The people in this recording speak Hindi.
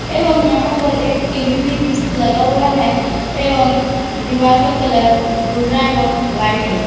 एवं यहां पर एक टी_वी भी लगा हुआ है एवं दीवार का कलर भूरा एवं व्हाइट है।